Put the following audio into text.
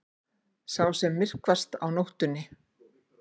Sá sem myrkvast á nóttunni.